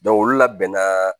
olu labɛnna